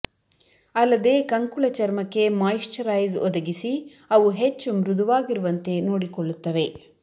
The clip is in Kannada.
ಅಲ್ಲದೆ ಕಂಕುಳ ಚರ್ಮಕ್ಕೆ ಮಾಯಿಶ್ಚರೈಸ್ ಒದಗಿಸಿ ಅವು ಹೆಚ್ಚು ಮೃದುವಾಗಿರುವಂತೆ ನೋಡಿಕೊಳ್ಳುತ್ತವೆ